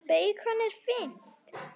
Beikon er fínt!